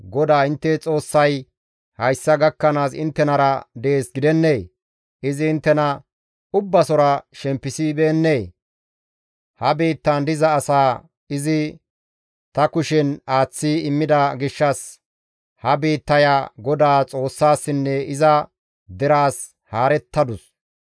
«GODAA intte Xoossay hayssa gakkanaas inttenara dees gidennee? Izi inttena ubbasora shempisibeennee? Ha biittan diza asaa izi ta kushen aaththi immida gishshas ha biittaya Godaa Xoossassinne iza deraas haarettadus.